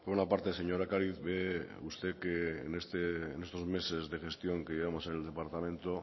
bueno por una parte señora ocariz ve usted que en estos meses de gestión que llevamos en el departamento